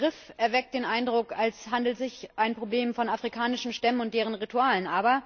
Der Begriff erweckt den Eindruck, als handele es sich um ein Problem von afrikanischen Stämmen und deren Ritualen.